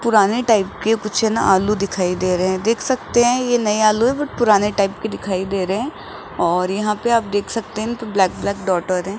पुराने टाइप के कुछ न आलू दिखाई दे रहे है देख सकते है ये नये आलू है बट पुराने टाइप के दिखाई दे रहे है और यहां पे आप देख सकते है न ब्लैक-ब्लैक डॉट हो रहे --